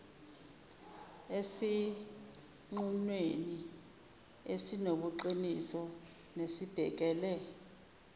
esinqumweni esinobuqiniso nesibhekele